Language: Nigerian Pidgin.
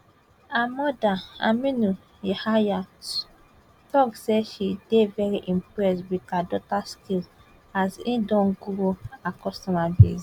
her mother aminu yahaya tok say she dey very impressed wit her daughter skills as e don grow her customer base